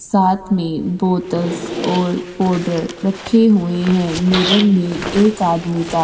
साथ में बोतल्स् और पोड़र रखे हुए हैं। मिरर में एक आदमी का --